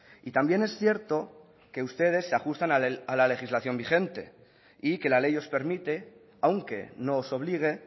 y también es cierto que ustedes se ajustan a la legislación vigente y que la ley os permite aunque no os obligue